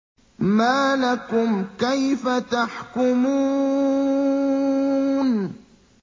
مَا لَكُمْ كَيْفَ تَحْكُمُونَ